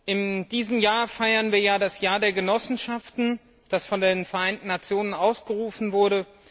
In diesem Jahr feiern wir das Jahr der Genossenschaften, das von den Vereinten Nationen ausgerufen wurde.